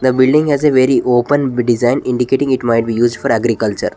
The building has a very open be design indicating it might be used for agriculture.